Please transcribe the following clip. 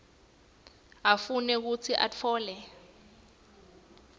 afune futsi atfole